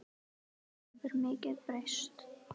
Það hefur mikið breyst.